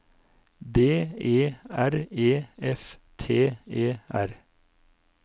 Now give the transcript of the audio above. D E R E F T E R